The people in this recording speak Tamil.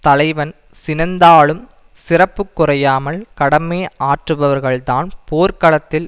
தலைவன் சினந்தாலும் சிறப்பு குறையாமல் கடமை ஆற்றுபவர்கள்தான் போர்களத்தில்